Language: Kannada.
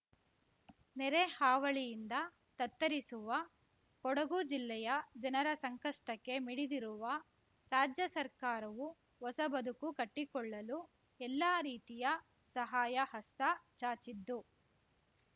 ನೆರೆ ಹಾವಳಿಯಿಂದ ತತ್ತರಿಸುವ ಕೊಡಗು ಜಿಲ್ಲೆಯ ಜನರ ಸಂಕಷ್ಟಕ್ಕೆ ಮಿಡಿದಿರುವ ರಾಜ್ಯ ಸರ್ಕಾರವು ಹೊಸ ಬದುಕು ಕಟ್ಟಿಕೊಳ್ಳಲು ಎಲ್ಲಾ ರೀತಿಯ ಸಹಾಯ ಹಸ್ತ ಚಾಚಿದ್ದು